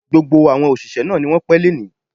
Gbogbo àwọn òṣìṣẹ́ náà ni wọ́n pẹ́ lónìí